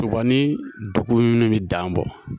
Toba ni dugu in de bɛ dan bɔ.